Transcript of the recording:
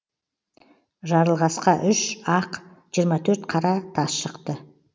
жарылғасқа үш ақ жиырма төрт қара тас шықты